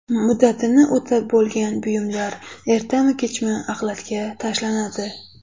Muddatini o‘tab bo‘lgan buyumlar ertami-kechmi axlatga tashlanadi.